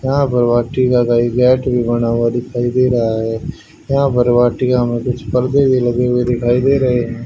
यहाँ पर वाटिका मैं मैंट भीं बना हुवा दिखाई दे रहा हैं यहां पर वाटिका मैं कुछ पर्दे भी लगे हुए दिखाई दे रहें हैं।